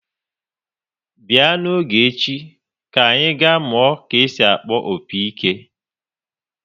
Bịa n'oge echi, anyị ga-amụ ka esi akpọ opi-ike!